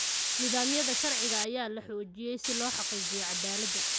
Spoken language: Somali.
Nidaamyada sharciga ayaa la xoojiyay si loo xaqiijiyo caddaaladda.